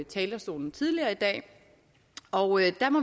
talerstolen tidligere i dag og